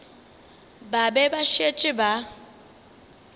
ba be ba šetše ba